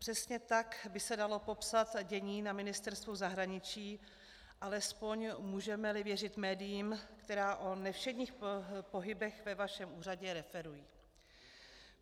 Přesně tak by se dalo popsat dění na Ministerstvu zahraničí, alespoň můžeme-li věřit médiím, která o nevšedních pohybech ve vašem úřadě referují.